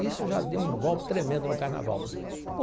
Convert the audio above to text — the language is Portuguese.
Isso já deu um golpe tremendo no Carnaval.